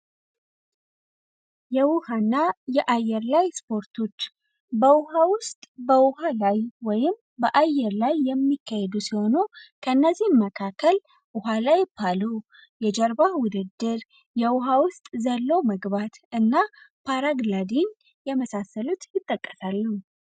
የውሃና የአየር ላይ ስፖርቶች በውሃ ውስጥ በውሃ ላይ ወይም በአየር ላይ የሚካሄዱ ሲሆኑ፤ ከነዚህም መካከል ውሃ ላይ ፓሉ፣ የጀርባ ውድድር፣ የውሃ ውስጥ ዘሎ መግባት እና ፓራግለዲን የመሳሰሉት ይጠቀሉ።